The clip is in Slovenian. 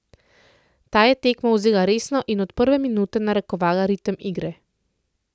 Ta je tekmo vzela resno in od prve minute narekovala ritem igre.